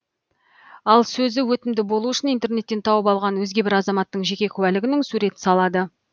ал сөзі өтімді болуы үшін интернеттен тауып алған өзге бір азаматтың жеке куәлігінің суретін салады